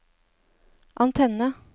antenne